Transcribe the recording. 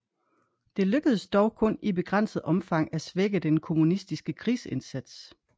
Det lykkedes dog kun i begrænset omfang at svække den kommunistiske krigsindsats